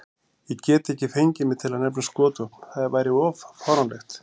Ég gat ekki fengið mig til að nefna skotvopn, það var of fáránlegt.